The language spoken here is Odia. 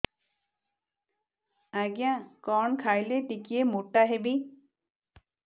ଆଜ୍ଞା କଣ୍ ଖାଇଲେ ଟିକିଏ ମୋଟା ହେବି